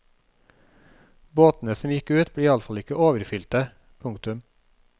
Båtene som gikk ut ble iallefall ikke overfyllte. punktum